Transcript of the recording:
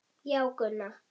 Já, Gunna.